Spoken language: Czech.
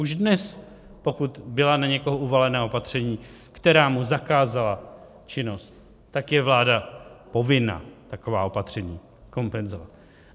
Už dnes, pokud byla na někoho uvalena opatření, která mu zakázala činnost, tak je vláda povinna taková opatření kompenzovat.